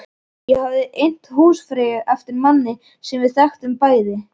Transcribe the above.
Ég hafði innt húsfreyju eftir manni sem við þekktum bæði.